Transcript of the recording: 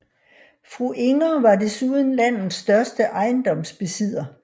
Fru Inger var desuden landets største ejendomsbesidder